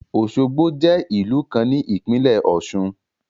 Osogbo je ìlú kan ní ìpílẹ̀ ọ̀ṣun.